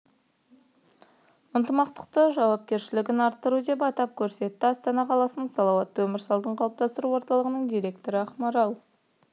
ынтымақты жауапкершілігін арттыру деп атап көрсетті астана қаласының салауатты өмір салтын қалыптастыру орталығының директоры ақмарал